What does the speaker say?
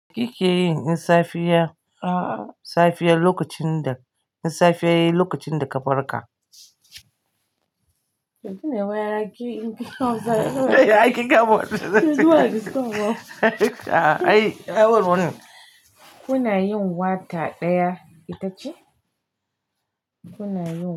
Ki ke yin in safiya, safiya lokacin da, in safiya yayi lokacin da ka farka fiye lokacin da ka bar ka. Kuna yin wata ɗaya ita ce? Kuna yin.